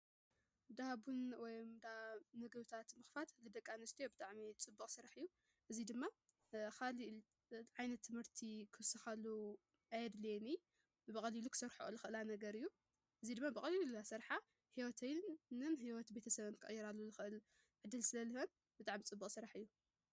ዳ ቡን ወይ ዳ ምግብታት ምኽፋት ንደቂኣንስትዮ ብጥዕሚ ጽቡቕ ስራሕ እዩ። እዙይ ድማ ኻልእ ዓይነት ትምህርቲ ኽውስካሉ ኣየድልየንን ብቐሊሉ ኽሰርሐኦ ዝኽእላ ነገር እዩ። እዙይ ድማ ብቐሊሉ እናሰርሓ ሕይወተንን ሕይወት ቤተሰበንን ክቕይራሉ ልኽእል ዕድል ስለዝህበን ብጣዕሚ ጽቡቕ ስራሕ እዩ።